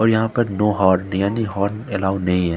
और यहां पर नो हॉर्न यानि हॉर्न अल्लोव नहीं है ।